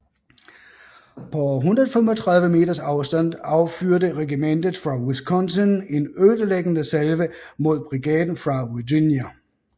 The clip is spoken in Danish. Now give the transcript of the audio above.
På 135 meters afstand affyrede regimentet fra Wisconsin en ødelæggende salve mod brigaden fra Virginia